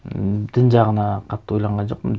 м дін жағына қатты ойланған жоқпын